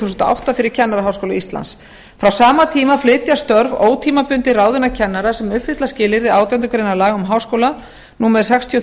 þúsund og átta fyrir kennaraháskóla íslands frá sama tíma flytja störf ótímabundinna ráðinna kennara sem uppfylla skilyrði átjándu grein laga um háskóla númer sextíu